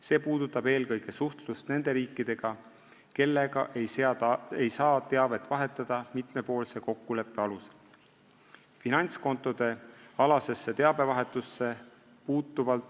See puudutab eelkõige suhtlust nende riikidega, kellega ei saa teavet vahetada mitmepoolse kokkuleppe alusel.